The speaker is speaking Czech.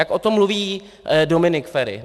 Jak o tom mluví Dominik Feri.